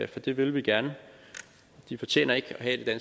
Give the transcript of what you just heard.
det vil vi gerne de fortjener ikke at have det